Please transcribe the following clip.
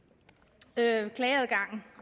er en klageadgangen